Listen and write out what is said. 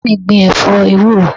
Bàbá mi gbìn ẹ̀fọ́ ewúro